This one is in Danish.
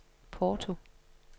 Porto